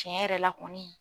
Cɛn yɛrɛ la kɔni